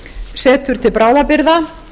setur til bráðabirgða